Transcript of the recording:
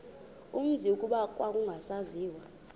umzi kuba kwakungasaziwa